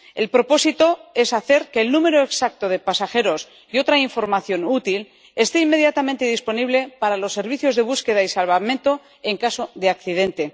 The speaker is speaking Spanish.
El propósito es hacer que el número exacto de pasajeros y otra información útil esté inmediatamente disponible para los servicios de búsqueda y salvamento en caso de accidente.